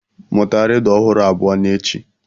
Mụta rịdụ ọhụrụ abụọ n'echi.